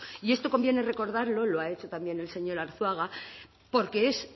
y esto conviene recordarlo lo ha hecho también el señor arzuaga porque es